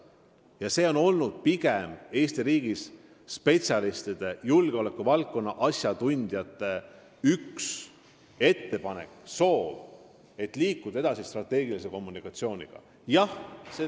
Ja see on olnud pigem Eesti riigi spetsialistide, julgeolekuvaldkonna asjatundjate üks ettepanekuid ja soove, et me liiguks strateegilise kommunikatsiooniga edasi.